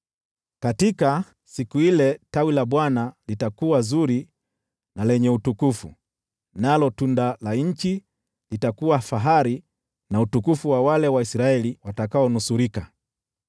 Katika siku ile Tawi la Bwana litakuwa zuri na lenye utukufu, nalo tunda la nchi litakuwa fahari na utukufu wa wale Waisraeli watakaonusurika.